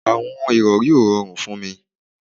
Àwọn ìrọri ó rọrùn fún mí